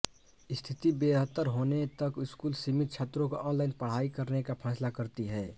स्थिति बेहतर होने तक स्कूल समिति छात्रों को ऑनलाइन पढ़ाने का फैसला करती है